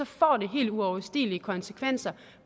får det helt uoverstigelige konsekvenser